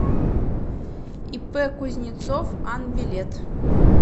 ип кузнецов ан билет